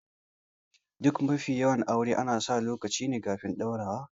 Duk mafi yawan aure ana sa lokaci kafin ɗaurawa